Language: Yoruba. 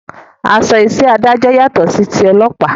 Aṣọ iṣẹ́ adájọ́ yàtọ̀ sí ti ọlọ́pàá